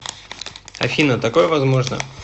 афина такое возможно